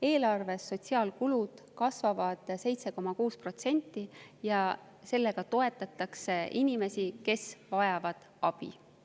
Eelarves sotsiaalkulud kasvavad 7,6% ja nendega toetatakse inimesi, kes vajavad abi.